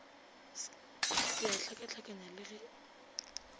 se a hlakahlakanya le ge